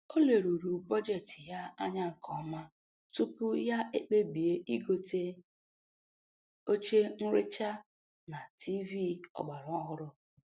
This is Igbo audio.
O leruru bọjetị ya anya nke ọma tupu ya ekpebie igote oche nrecha na tiivii ọgbaraọhụrụ